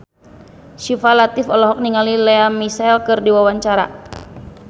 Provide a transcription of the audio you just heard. Syifa Latief olohok ningali Lea Michele keur diwawancara